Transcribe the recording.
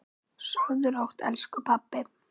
Sofðu rótt, elsku pabbi.